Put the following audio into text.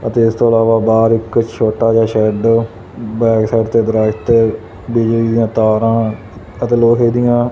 ਅਤੇ ਇਸ ਤੋਂ ਇਲਾਵਾ ਬਾਹਰ ਇੱਕ ਛੋਟਾ ਜਿਹਾ ਸ਼ੈੱਡ ਬੈਕ ਸਾਈਡ ਤੇ ਦਰਖਤ ਬਿਜਲੀ ਦੀ ਤਾਰਾਂ ਅਤੇ ਲੋਹੇ ਦੀਆਂ --